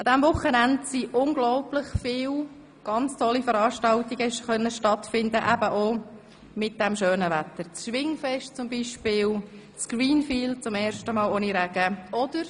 Es konnten sehr viele schöne Veranstaltungen stattfinden wie etwa das Schwingfest oder das Greenfields Festival, welches zum ersten Mal ohne Regen durchgeführt werden konnte.